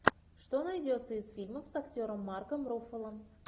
что найдется из фильмов с актером марком руффало